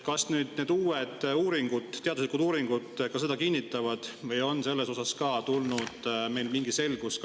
Kas need uued teaduslikud uuringud seda kinnitavad või on selles osas ka tulnud meil mingi?